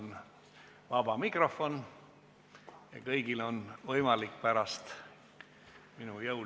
Ja täna, ma arvan, tuleb selleks, et reformi tagasi ei pöörataks, teha kõik selleks, et võimalikult paljudes asulates jääksid apteegid lahti ja alles.